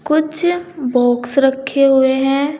कुछ बॉक्स रखे हुए हैं।